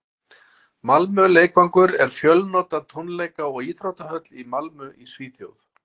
malmö leikvangur er fjölnota tónleika og íþróttahöll í malmö í svíþjóð